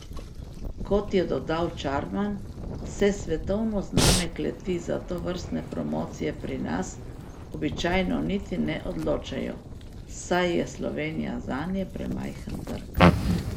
Kot je dodal Čarman, se svetovno znane kleti za tovrstne promocije pri nas običajno niti ne odločajo, saj je Slovenija zanje premajhen trg.